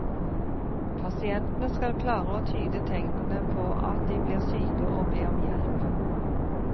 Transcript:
Pasientene skal klare å tyde tegnene på at de blir syke og be om hjelp.